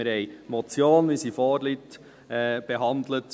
Seitens des Büros haben wir die Motion, wie sie vorliegt, behandelt.